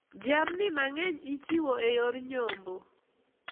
Jamni mang`eny ichiwo e yor nyombo.